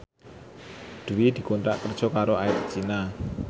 Dwi dikontrak kerja karo Air China